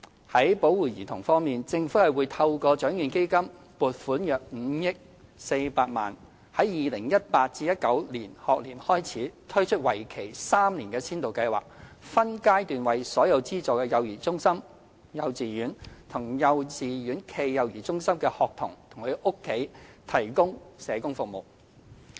在保護兒童方面，政府會透過獎券基金撥款約5億400萬元，在 2018-2019 學年推出為期3年的先導計劃，分階段為所有資助幼兒中心、幼稚園及幼稚園暨幼兒中心的學童及其家庭提供社工服務。